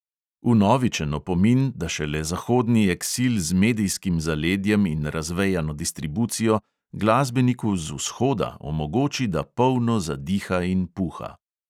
Vnovičen opomin, da šele zahodni eksil z medijskim zaledjem in razvejano distribucijo glasbeniku z "vzhoda" omogoči, da polno zadiha in puha.